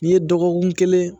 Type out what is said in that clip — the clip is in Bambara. N'i ye dɔgɔkun kelen